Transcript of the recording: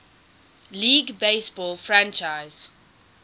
league baseball franchise